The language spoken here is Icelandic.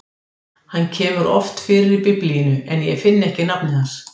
Hann kemur oft fyrir í Biblíunni, en ég finn ekki nafnið hans.